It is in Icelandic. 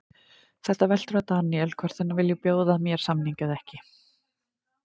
Þetta veltur á Daniel, hvort hann vilji bjóða mér samning eða ekki?